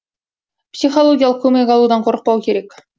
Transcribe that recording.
психологиялық көмек алудан қорықпау керек